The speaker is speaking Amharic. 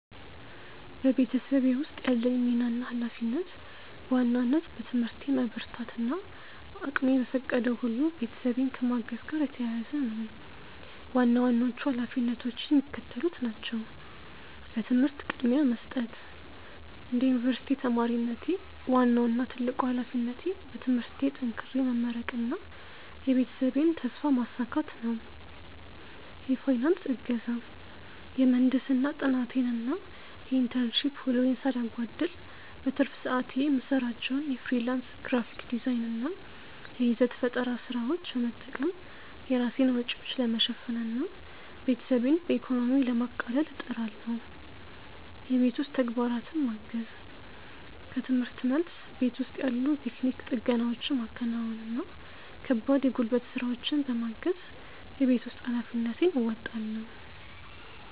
በቤተሰቤ ውስጥ ያለኝ ሚና እና ኃላፊነት በዋናነት በትምህርቴ መበርታት እና እቅሜ በፈቀደው ሁሉ ቤተሰቤን ከማገዝ ጋር የተያያዘ ነው። ዋና ዋናዎቹ ኃላፊነቶቼ የሚከተሉት ናቸው፦ ለትምህርት ቅድሚያ መስጠት፦ እንደ ዩኒቨርሲቲ ተማሪነቴ፣ ዋናው እና ትልቁ ኃላፊነቴ በትምህርቴ ጠንክሬ መመረቅና የቤተሰቤን ተስፋ ማሳካት ነው። የፋይናንስ እገዛ፦ የምህንድስና ጥናቴን እና የኢንተርንሺፕ ውሎዬን ሳላጓድል፣ በትርፍ ሰዓቴ የምሰራቸውን የፍሪላንስ ግራፊክ ዲዛይን እና የይዘት ፈጠራ ስራዎች በመጠቀም የራሴን ወጪዎች ለመሸፈን እና ቤተሰቤን በኢኮኖሚ ለማቃለል እጥራለሁ። የቤት ውስጥ ተግባራትን ማገዝ፦ ከርምህርት መልስ፣ ቤት ውስጥ ያሉ የቴክኒክ ጥገናዎችን ማከናወን እና ከባድ የጉልበት ስራዎችን በማገዝ የቤት ውስጥ ኃላፊነቴን እወጣለሁ።